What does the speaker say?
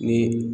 Ni